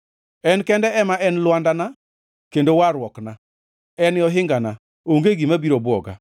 En kende ema en lwandana kendo warruokna; en e ohingana; onge gima biro bwoga.